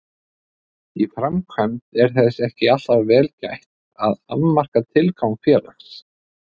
Í framkvæmd er þess ekki alltaf vel gætt að afmarka tilgang félags.